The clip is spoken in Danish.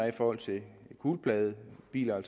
i forhold til gulpladebiler